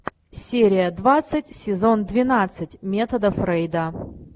серия двадцать сезон двенадцать метода фрейда